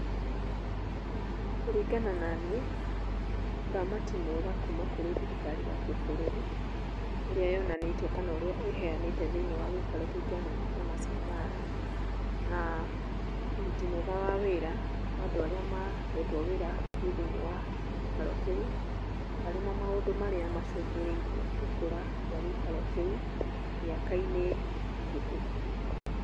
Kũringana naniĩ, ũramati mwega kuuma kurĩ thirikari ya kĩbũrũri, ũrĩa yonanĩtie kana ũrĩa ĩheanĩte thĩinĩ wa gĩikaro kĩu kĩa nyamũ kĩa Maasai mara, na ũruti mwega wa wĩra wa andũ arĩa mahetwo wĩra kũu thĩinĩ wa gĩikaro kĩu, arĩ mo maũndũ marĩa macũngĩrĩirie gũkũra kwa gĩikaro kĩu mĩaka-inĩ mĩhĩtũku.